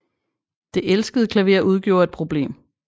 Det elskede klaver udgjorde et problem